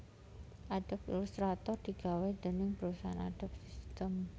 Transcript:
Adobe Illustrator digawé déning parusahan Adobe System